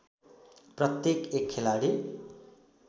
प्रत्येक एक खेलाडी